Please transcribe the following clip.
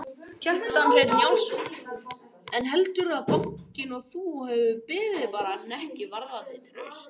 Kjartan Hreinn Njálsson: En heldurðu að bankinn og þú hafi beðið bara hnekki varðandi traust?